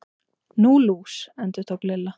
Nú, lús. endurtók Lilla.